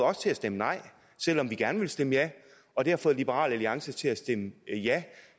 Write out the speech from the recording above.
os til at stemme nej selv om vi gerne ville stemme ja og det har fået liberal alliance til at stemme ja